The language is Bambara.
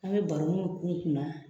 An be baroniw k'u kunna